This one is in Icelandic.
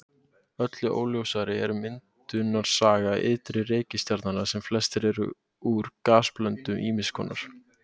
Öllu óljósari er myndunarsaga ytri reikistjarnanna sem flestar eru úr gasblöndum ýmiss konar.